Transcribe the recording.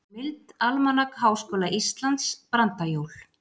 Heimild: Almanak Háskóla Íslands- Brandajól.